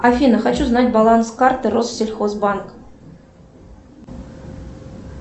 афина хочу знать баланс карты россельхозбанк